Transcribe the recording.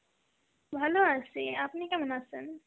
ভালো আছি, আপনি কেমন আছেন?